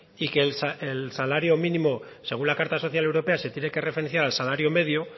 y que el salario mínimo según la carta social europea se tiene que referenciar al salario medio